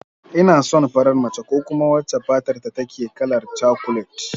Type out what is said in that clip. Ina son farar mace ko kuma wacce fatarta take kalar cakulet